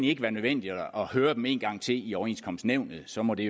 ikke være nødvendigt at høre dem en gang til i overenskomstnævnet så må det